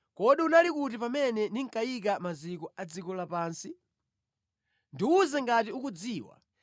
“Kodi unali kuti pamene ndinkayika maziko a dziko lapansi? Ndiwuze ngati ukudziwa.